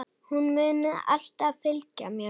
Hún mun alltaf fylgja mér.